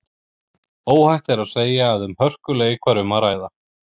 Óhætt er að segja að um hörkuleik var um að ræða.